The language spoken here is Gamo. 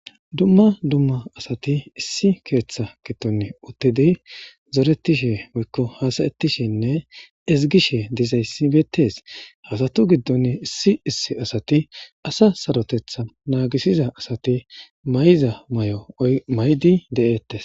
Dumma dumma asathi issi keeththaa giddoni uththidi zoreththishe woykko haasayeththishenne ezggishe dizayssi beeththees; ha asathu giddoni issi issi asathi asa sarothetha naagissiza asathi mayida maayo maayidi de7eeththes.